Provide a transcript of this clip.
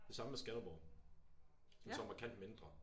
Det samme med Skanderborg. Som så er markant mindre